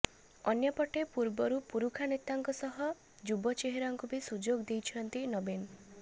ଅନ୍ୟପଟେ ପୂର୍ବରୁ ପୁରୁଖା ନେତାଙ୍କ ସହ ଯୁବ ଚେହେରାଙ୍କୁ ବି ସୁଯୋଗ ଦେଇଛନ୍ତି ନବୀନ